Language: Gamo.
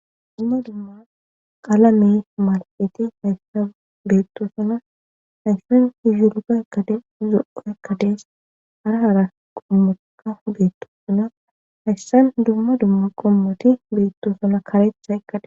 Dumma dumma qalame malaqeti hayssa beetto suna hayssan izulga ekkade zoo ekkadees harahara qommoka hudeto suna hayssan dumma dumma qommoti beetto suna karetha ekkade.